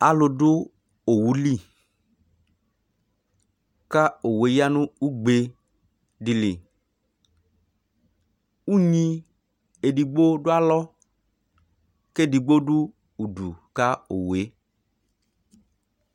alu du owu li ka owoe ɣa nu ugbe di liʋŋni edigbo du alo ke edigbo du udu ka owoe